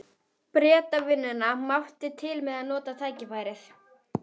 spyr hún eins og hún trúi ekki sínum eigin eyrum.